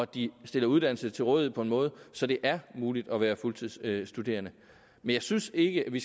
de stiller uddannelse til rådighed på en måde så det er muligt at være fuldtidsstuderende jeg synes ikke at vi